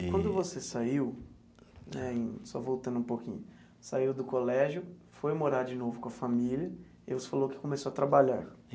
Quando você saiu em, só voltando um pouquinho, saiu do colégio, foi morar de novo com a família e você falou que começou a trabalhar.